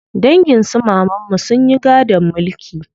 Dangin su mamanmu sun yi gadon mulki.